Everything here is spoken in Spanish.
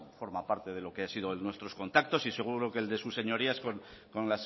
forma parte de lo que han sido nuestros contactos y seguro que el de sus señorías con